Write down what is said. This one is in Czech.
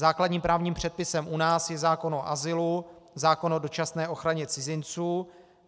Základním právním předpisem u nás je zákon o azylu, zákon o dočasné ochraně cizinců.